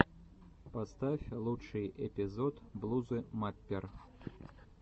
поставь лучший эпизод блузы маппер